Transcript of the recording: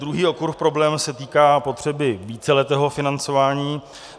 Druhý okruh problémů se týká potřeby víceletého financování.